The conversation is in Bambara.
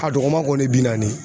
A dɔgɔma kɔni ye bi naani ye.